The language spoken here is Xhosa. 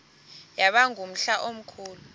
yaba ngumhla omkhulu